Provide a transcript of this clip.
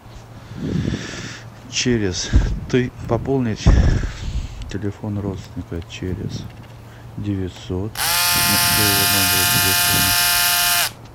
через ты пополнить телефон родственника через девятьсот со своего номера телефона